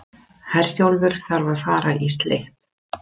Herjólfur þarf að fara í slipp